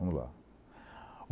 Vamos lá.